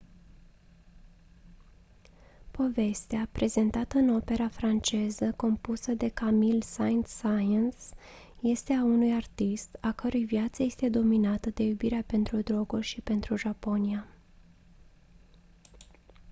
povestea prezentată în opera franceză compusă de camille saint-saens este a unui artist «a cărui viață este dominată de iubirea pentru droguri și pentru japonia».